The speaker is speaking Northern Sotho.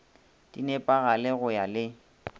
di nepagale go ya le